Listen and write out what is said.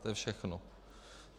To je všechno.